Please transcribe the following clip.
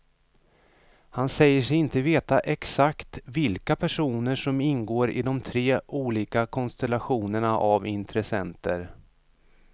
Han säger sig inte veta exakt vilka personer som ingår i de tre olika konstellationerna av intressenter.